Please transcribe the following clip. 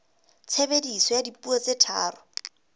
tshebediso ya dipuo tse tharo